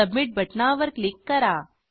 submit बटणावर click करा